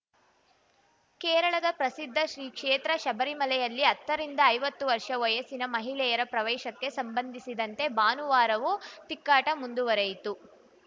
ಕೇರಳದ ಪ್ರಸಿದ್ಧ ಶ್ರೀಕ್ಷೇತ್ರ ಶಬರಿಮಲೆಯಲ್ಲಿ ಹತ್ತರಿಂದ ಐವತ್ತು ವರ್ಷ ವಯಸ್ಸಿನ ಮಹಿಳೆಯರ ಪ್ರವೇಶಕ್ಕೆ ಸಂಬಂಧಿಸಿದಂತೆ ಭಾನುವಾರವೂ ತಿಕ್ಕಾಟ ಮುಂದುವರಿಯಿತು